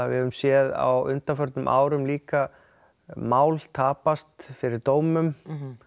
við höfum séð á undanförnum árum líka mál tapast fyrir dómum